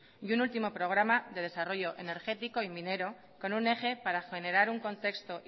y un último programa de desarrollo energético y minero con un eje para generar un contexto